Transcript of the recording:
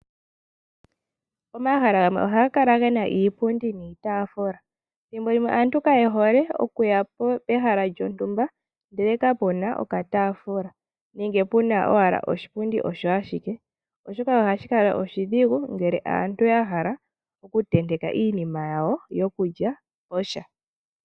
Omahala gamwe oha gakala gena iipundi niitafula, thimbo limwe aantu kaye hole oku ya pehala lyontumba ndele kapuna okatafula nenge puna owala oshipundi osho ashike, oshoka ohashi kala oshidhigu ngele aantu yahala kutenteka iinima yawo yokulya posha.